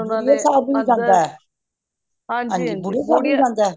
overlap